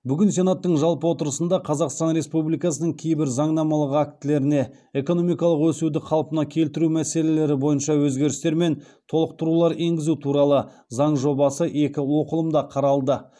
бүгін сенаттың жалпы отырысында қазақстан республикасының кейбір заңнамалық актілеріне экономикалық өсуді қалпына келтіру мәселелері бойынша өзгерістер мен толықтырулар енгізу туралы заң жобасы екі оқылымда қаралды